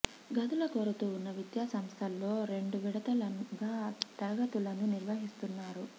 గదుల కొరత ఉన్న విద్యా సంస్థల్లో రెండు విడతలుగా తరగతులను నిర్వహిస్తున్నారు